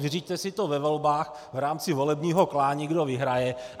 Vyřiďte si to ve volbách v rámci volebního klání, kdo vyhraje.